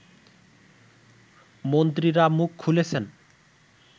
মন্ত্রীরা মুখ খুলেছেন